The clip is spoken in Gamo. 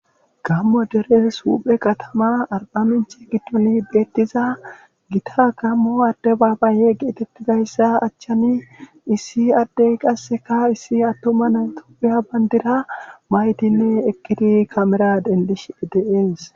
Gamo deres huphe kataman diza adebabayeyi betesi.